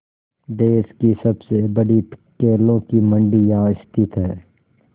देश की सबसे बड़ी केलों की मंडी यहाँ स्थित है